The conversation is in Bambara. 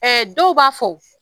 Ɛ dɔw b'a fo